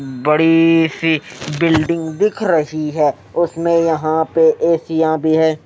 बड़ी सी बिल्डिंग दिख रही है उसमें यहां पे एसीया भी है।